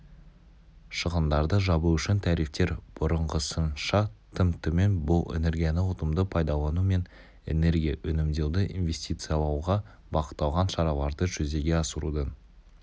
шығындарды жабу үшін тарифтер бұрынғысынша тым төмен бұл энергияны ұтымды пайдалану мен энергия үнемдеуді инвестициялауға бағытталған шараларды жүзеге асырудың